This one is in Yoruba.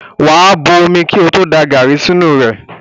Wà á bo omi kí ó tó da gàrí sínú rẹ̀.